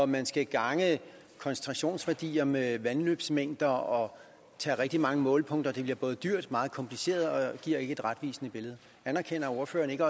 man skal gange koncentrationsværdier med vandløbsmængder og tage rigtig mange målepunkter bliver det både dyrt og meget kompliceret og giver ikke et retvisende billede anerkender ordføreren ikke